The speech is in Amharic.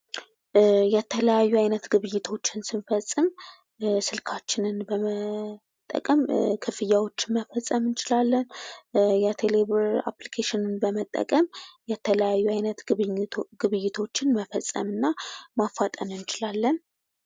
የተለያዩ አይነት ግብይቶችን ስንፈጽም ስልካችንን በመጠቀም ክፍያዎችን መፈፀም እንችላለን። የቴሌብር አፕልኬሽን በመጠቀም የተለያዩ አይነት ግብይቶችን መፈጸም እና ማፋጠን እንችላለን።